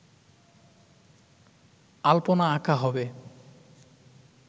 আলপনা আঁকা হবে